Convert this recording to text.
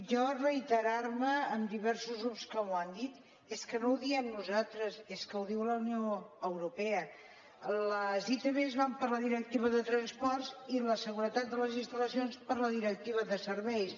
jo reiterar me amb diversos grups que m’ho han dit és que no ho diem nosaltres és que ho diu la unió europea les itv van per la directiva de transports i la seguretat de les instal·lacions per la directiva de serveis